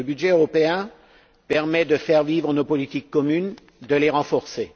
Le budget européen permet de faire vivre nos politiques communes et de les renforcer.